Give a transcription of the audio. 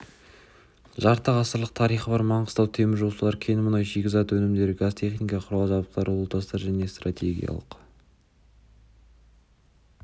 жарты ғасырлық тарихы бар маңғыстау теміржолшылары кен мұнай шикізат өнімдері газ техника құрал-жабдықтар ұлутастар және стратегиялық